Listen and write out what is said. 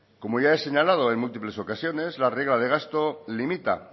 como ya he señalado en múltiples ocasiones la regla de gasto limita